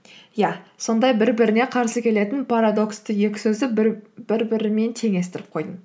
иә сондай бір біріне қарсы келетін парадоксты екі сөзді бір бірімен теңестіріп қойдым